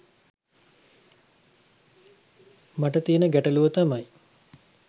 මට තියන ගැටලුව තමයි